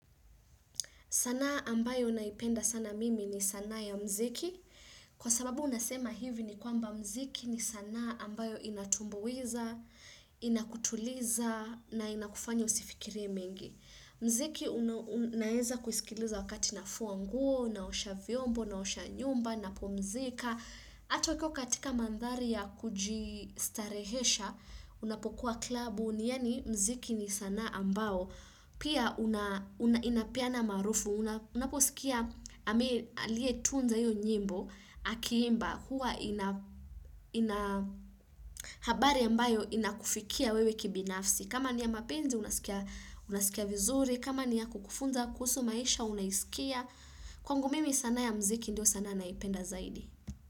Sanaa ambayo naipenda sana mimi ni sana ya muziki. Kwa sababu nasema hivi ni kwamba muziki ni sanaa ambayo inatumbuiza, inakutuliza na inakufanya usifikirie mengi. Mziki una naeza kusikiliza wakati nafua nguo, naosha vyombo, naosha nyumba, napumzika. Hata ukiwa katika mandhari ya kujistarehesha unapokuwa klabu ni yani mziki ni sanaa ambao pia una inapeana maarufu unaposikia aliyetunza hiyo nyimbo akiimba huwa ina ina habari ambayo inakufikia wewe kibinafsi kama ni ya mapenzi unasikia unasikia vizuri kama ni ya kukufunza kuhusu maisha unaisikia kwangu mimi sanaa ya mziki ndio sanaa nayoipenda zaidi.